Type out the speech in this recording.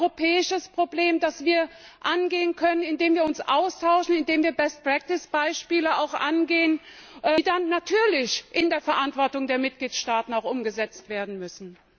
Das ist ein europäisches Problem, das wir angehen können, indem wir uns austauschen, indem wir Best practice Beispiele angehen, die dann natürlich auch in der Verantwortung der Mitgliedstaaten umgesetzt werden müssen.